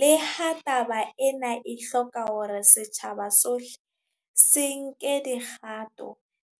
Le ha taba ena e hloka hore setjhaba sohle se nke dikgato,